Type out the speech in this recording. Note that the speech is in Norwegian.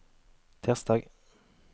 tirsdag